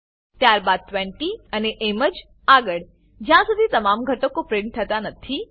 ત્યારબાદ 20 અને એમજ આગળ જ્યારસુધી તમામ ઘટકો પ્રીંટ થતા નથી